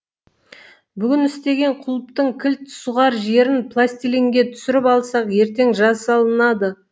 бүгін істеген құлыптың кілт сұғар жерін пластилинге түсіріп алсақ ертең жасалынады